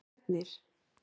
Ernir